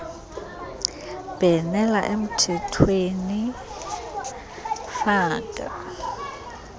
bhenela emthethweni faka